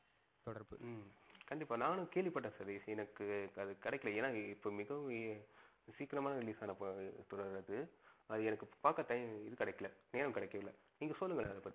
தொடர்பு ஹம் கண்டிப்பா நானும் கேள்விபட்டன் சதீஷ் எனக்கு அது கிடைக்கல ஏன்னா இப்ப மிகவும் சீக்கிரமா release ஆனா படம் போல அது. அது பாக்க எனக்கு time இது கிடைக்கல நேரம் கிடைக்கல. நீங்க சொல்லுங்க அத பத்தி ஹம்